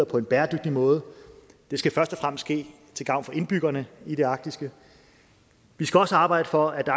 på en bæredygtig måde det skal først og fremmest ske til gavn for indbyggerne i det arktiske vi skal også arbejde for at